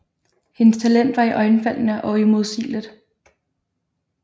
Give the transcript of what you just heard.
Hendes talent var iøjnefaldende og uimodsigeligt